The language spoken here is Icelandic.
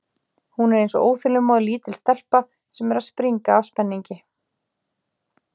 Hún er eins og óþolinmóð, lítil stelpa sem er að springa af spenningi.